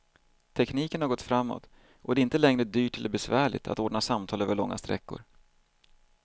Tekniken har gått framåt och det är inte längre dyrt eller besvärligt att ordna samtal över långa sträckor.